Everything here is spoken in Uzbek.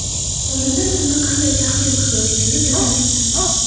Oldinda sizni qanday taqdir kutayotganini bilmas ekansiz.